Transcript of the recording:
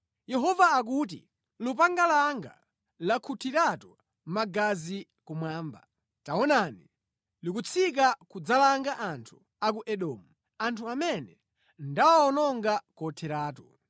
Yehova akuti, “Lupanga langa lakhutiratu magazi kumwamba; taonani, likutsika kudzalanga anthu a ku Edomu, anthu amene ndawawononga kotheratu.”